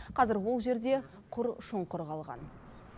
қазір ол жерде құр шұңқыр қалған